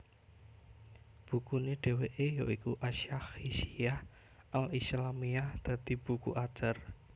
Bukune dheweke ya iku As Syakhshiyyah al Islâmiyyah dadi buku ajar